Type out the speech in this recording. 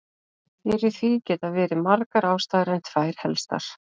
Fyrir því geta verið margar ástæður en tvær helstar.